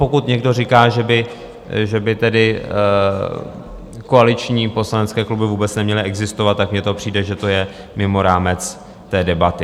Pokud někdo říká, že by tedy koaliční poslanecké kluby vůbec neměly existovat, tak mně to přijde, že to je mimo rámec té debaty.